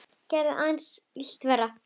Það gerði aðeins illt verra.